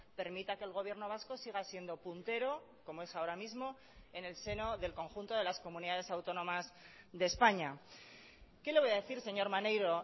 permita que el gobierno vasco siga siendo puntero como es ahora mismo en el seno del conjunto de las comunidades autónomas de españa qué le voy a decir señor maneiro